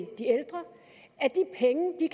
de